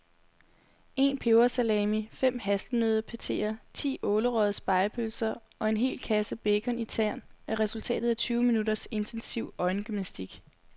En pebersalami, fem hasselnøddepateer, ti ålerøgede spegepølser og en halv kasse bacon i tern er resultatet af tyve minutters intensiv øjengymnastik.